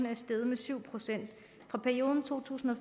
er steget med syv procent i perioden to tusind og